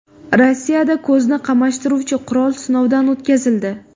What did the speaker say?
Rossiyada ko‘zni qamashtiruvchi qurol sinovdan o‘tkazildi .